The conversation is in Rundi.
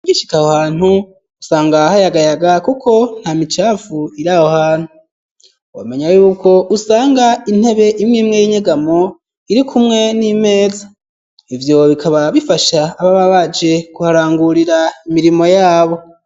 Ugishika aho hantu usanga hayagayaga kuko nta micafu iraho hantu womenya yuko usanga intebe imwimwe y'inyegamo iri kumwe n'imeza ivyo bikaba bifasha ababa baje kuharangurira imirimo yabo.